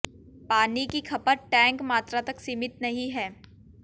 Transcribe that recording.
पानी की खपत टैंक मात्रा तक सीमित नहीं है